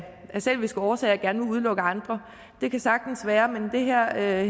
selviske årsager gerne vil udelukke andre det kan sagtens være men her er